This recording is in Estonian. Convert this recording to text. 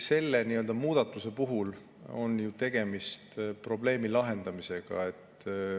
Selle muudatuse puhul on ju tegemist ikkagi probleemi lahendamisega.